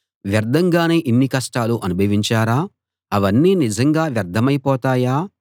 వ్యర్థంగానే ఇన్ని కష్టాలు అనుభవించారా అవన్నీ నిజంగా వ్యర్థమైపోతాయా